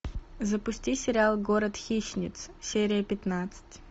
запусти сериал город хищниц серия пятнадцать